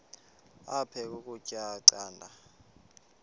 aphek ukutya canda